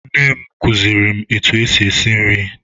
Nne m kuziri m etụ esị esị nri.